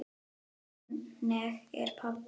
Þannig er pabbi.